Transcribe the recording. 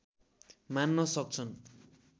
मान्न सक्छन्